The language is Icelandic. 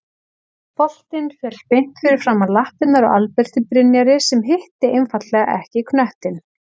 Boltinn féll beint fyrir framan lappirnar á Alberti Brynjari sem hitti einfaldlega ekki knöttinn.